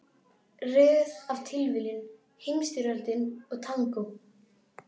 Röð af tilviljunum, Heimsstyrjöldin og tangó.